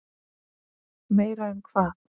Meira en hvað?